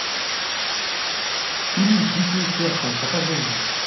фильм дикие сердцем покажи мне